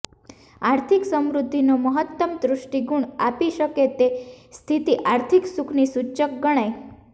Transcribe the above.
આર્થિક સમૃદ્ધિનો મહત્તમ તુષ્ટિગુણ આપી શકે તે સ્થિતિ આર્થિક સુખની સૂચક ગણાય